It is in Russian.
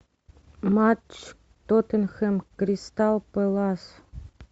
матч тоттенхэм кристал пэлас